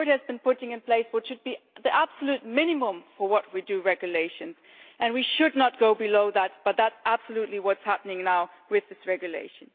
The Court has been putting in place what should be the absolute minimum for how we make regulations and we should not go below that, but that is absolutely what is happening now with this regulation.